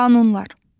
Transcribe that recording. Qanunlar.